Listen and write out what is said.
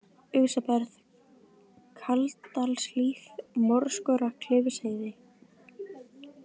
Ufsaberg, Kaldadalshlíð, Morskora, Klifsheiði